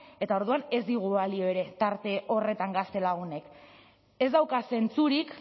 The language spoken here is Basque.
eta orduan ez digu balio ere tarte horretan gaztelagunek ez dauka zentzurik